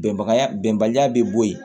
Bɛnbaya bɛnbaliya bɛ bo yen